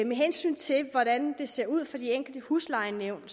med hensyn til hvordan det ser ud for de enkelte huslejenævn